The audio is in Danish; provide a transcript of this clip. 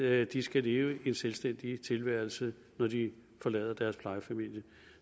at de skal leve en selvstændig tilværelse når de forlader deres plejefamilie